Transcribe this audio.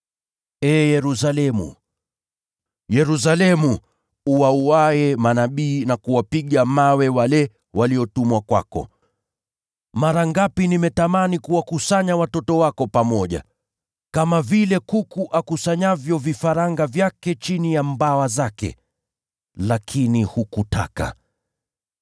“Ee Yerusalemu, Yerusalemu, uwauaye manabii na kuwapiga mawe wale waliotumwa kwako! Mara ngapi nimetamani kuwakusanya watoto wako pamoja, kama vile kuku akusanyavyo vifaranga wake chini ya mabawa yake, lakini hukutaka!